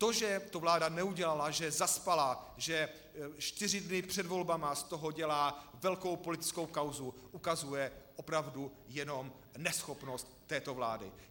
To, že to vláda neudělala, že zaspala, že čtyři dny před volbami z toho dělá velkou politickou kauzu, ukazuje opravdu jenom neschopnost této vlády.